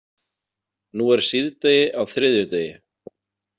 Nú er síðdegi á þriðjudegi.